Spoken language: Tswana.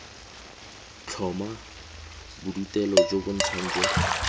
tlhoma bodutelo jo bontsha jo